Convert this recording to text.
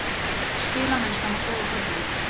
Spilamennskan var góð á köflum.